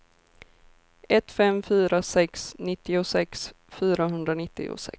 ett fem fyra sex nittiosex fyrahundranittiosex